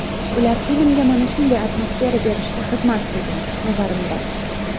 Ular filmga mana shunday atmosfera berishga xizmat qilgan, nazarimda.